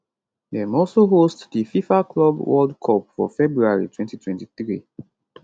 dem also host di fifa club world cup for february 2023